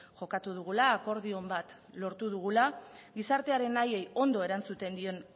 jokatu dugula akordio on bat lortu dugula gizartearen nahiei ondo erantzuten dien